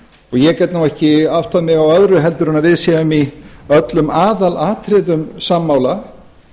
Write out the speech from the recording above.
ég get nú ekki áttað mig á öðru heldur en við séum í öllum aðalatriðum sammála